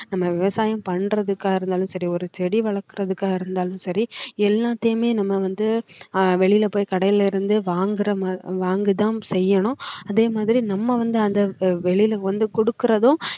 நம்ம விவசாயம் பண்றதுக்கா இருந்தாலும் சரி ஒரு செடி வளர்க்குறதுக்கா இருந்தாலும் சரி எல்லாத்தையுமே நம்ம வந்து அஹ் வெளியில போய் கடையிலிருந்து வாங்குற மாதிரி~வாங்கி தான் செய்யணும் அதே மாதிரி நம்ம வந்து அந்த வெளில வந்து கொடுக்கறதும்